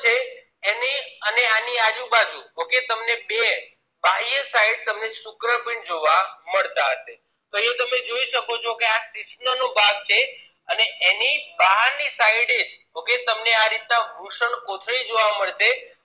બે બાહ્ય side શુક્રપીંડ જોવા મળતા હશે તો એ તમે જોઈ શકો છો આ શિશ્ન નો ભાગ છે એની બહાર ની sideokay તમને આ રીત ના જોવા વૃષણકોથળી મળશે